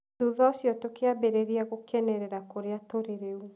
Thutha ũcio tũkĩambĩrĩria gũkenerera kũrĩa tũrĩ rĩu.